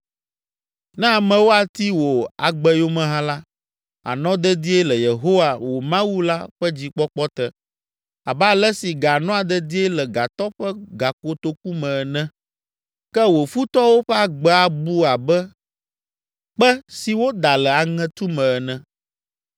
Ne amewo ati wò agbe yome hã la, ànɔ dedie le Yehowa, wò Mawu la ƒe dzikpɔkpɔ te, abe ale si ga nɔa dedie le gatɔ ƒe gakotoku me ene! Ke wò futɔwo ƒe agbe abu abe kpe si woda le aŋetu me ene.